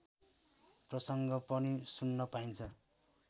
प्रसङ्ग पनि सुन्न पाइन्छ